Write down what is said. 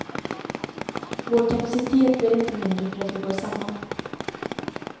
Vår kapacitet blir inte mindre för att vi går samman.